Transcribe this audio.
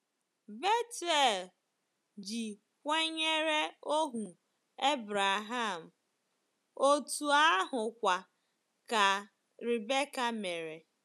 Bethuel ji kwenyere ohu Abraham, otú ahụkwa ka Rebecca mere.